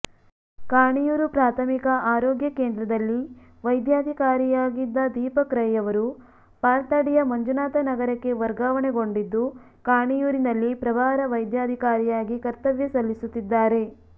ಕಾಣಿಯೂರು ಪ್ರಾಥಮಿಕ ಆರೋಗ್ಯ ಕೇಂದ್ರದಲ್ಲಿ ವೈದ್ಯಾಧಿಕಾರಿಯಾಗಿದ್ದ ದೀಪಕ್ ರೈಯವರು ಪಾಲ್ತಾಡಿಯ ಮಂಜುನಾಥನಗರಕ್ಕೆ ವರ್ಗಾವಣೆಗೊಂಡಿದ್ದು ಕಾಣಿಯೂರಿನಲ್ಲಿ ಪ್ರಭಾರ ವೈದ್ಯಾಧಿಕಾರಿಯಾಗಿ ಕರ್ತವ್ಯ ಸಲ್ಲಿಸುತ್ತಿದ್ದಾರೆ